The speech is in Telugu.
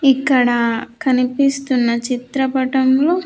ఇక్కడ కనిపిస్తున్న చిత్రపటంలో.